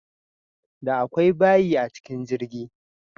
Da akwai bayi a cikin jirgi.